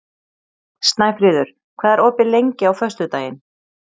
Snæfríður, hvað er opið lengi á föstudaginn?